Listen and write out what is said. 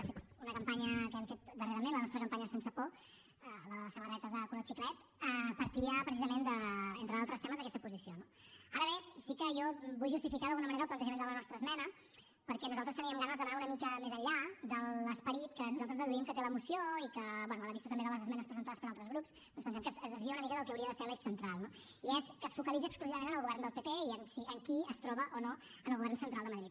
de fet una campanya que hem fet darrerament la nostra campanya sense por la de les samarretes de color xiclet partia precisament entre d’altres temes d’aquesta posició no ara bé sí que jo vull justificar d’alguna manera el plantejament de la nostra esmena perquè nosaltres teníem ganes d’anar una mica més enllà de l’esperit que nosaltres deduïm que té la moció i que bé a la vista també de les esmenes presentades per altres grups doncs pensem que es desvia una mica del que hauria de ser l’eix central no i és que es focalitza exclusivament en el govern del pp i en qui es troba o no en el govern central de madrid